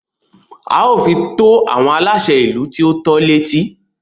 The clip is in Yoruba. A ó fi tó àwọn aláṣẹ ìlú tí o tọ́ l'étí.